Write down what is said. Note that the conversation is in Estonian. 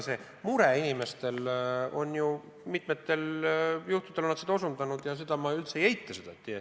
See mure inimestel tõesti on, mitmetel juhtudel on seda osutatud ja seda ma üldse ei eita.